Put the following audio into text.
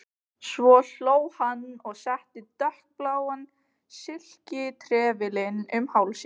Svo hló hann og setti dökkbláan silkitrefilinn um hálsinn.